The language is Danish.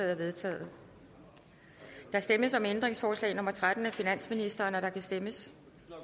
er vedtaget der stemmes om ændringsforslag nummer tretten af finansministeren og der kan stemmes